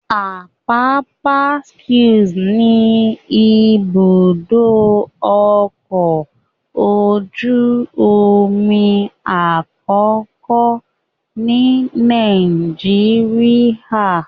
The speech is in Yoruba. Apapa Quays ni ibùdó ọkọ̀ ojú omi àkọ́kọ́ ni Nàìjíríà.